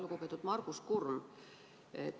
Lugupeetud Margus Kurm!